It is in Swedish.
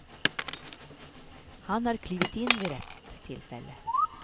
Han har klivit in vid rätt tillfälle.